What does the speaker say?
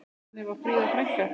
Þannig var Fríða frænka.